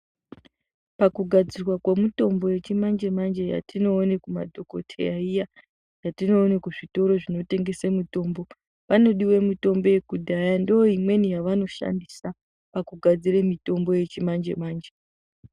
Pakugadzirwa kwemutombo yechimanje manje yetinoona kumadhokoteya iya, yetinoone kuzvitoro zvinotengese mitombo, panodiwe mutombo yekudhaya ndoimweni yavanoshandisa pakugadzira mitombo yechimanje manje.